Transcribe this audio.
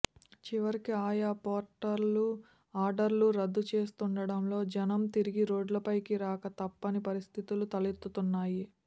చివరికి ఆయా పోర్టళ్లు ఆర్డర్లు రద్దు చేస్తుండటంతో జనం తిరిగి రోడ్లపైకి రాక తప్పని పరిస్ధితులు తలెత్తుతున్నాయి